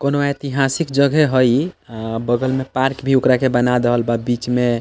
कोनो ऐतिहासिक जगह हेय इ अ बगल में पार्क भी ओकरा के बना देहल बा बीच में --